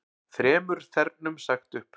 Þremur þernum sagt upp